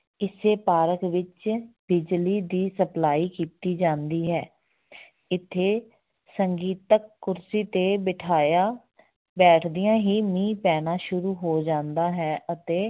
ਇਸੇ park ਵਿੱਚ ਬਿਜਲੀ ਦੀ supply ਕੀਤੀ ਜਾਂਦੀ ਹੈ ਇੱਥੇ ਸੰਗੀਤਕ ਕੁਰਸੀ ਤੇ ਬਿਠਾਇਆ ਬੈਠਦਿਆਂ ਹੀ ਮੀਂਹ ਪੈਣਾ ਸੁਰੂ ਹੋ ਜਾਂਦਾ ਹੈ ਅਤੇ